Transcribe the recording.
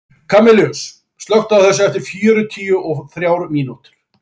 Kamilus, slökktu á þessu eftir fjörutíu og þrjár mínútur.